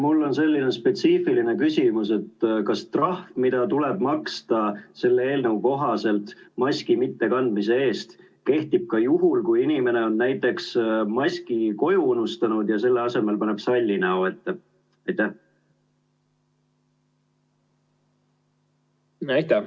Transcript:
Mul on selline spetsiifiline küsimus, et kas trahv, mida tuleb maksta selle eelnõu kohaselt maski mittekandmise eest, kehtib ka juhul, kui inimene on maski koju unustanud ja selle asemel paneb salli näo ette?